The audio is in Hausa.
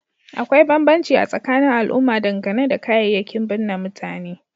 Akwai banbanci a tsakanin al'umma dangane da kayayyakin bunne mutane